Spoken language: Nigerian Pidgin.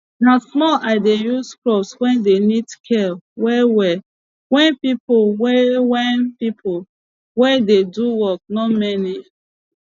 na small i dey use crops wey dey need care well well wen pipo wey wen pipo wey dey do work nor many